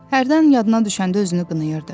Hərdən yadına düşəndə özünü qınayırdı.